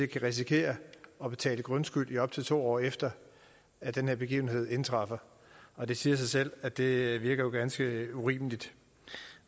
kan risikere at betale grundskyld i op til to år efter at den her begivenhed indtræffer og det siger sig selv at det virker ganske urimeligt